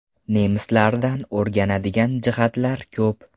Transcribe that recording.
Nemislardan o‘rganadigan jihatlar ko‘p.